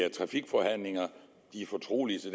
i trafikforhandlinger de er fortrolige så